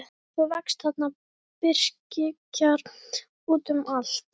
Svo vex þarna birkikjarr út um allt.